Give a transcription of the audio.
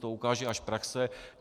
To ukáže až praxe.